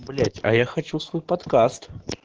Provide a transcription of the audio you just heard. блять а я хочу свой подкаст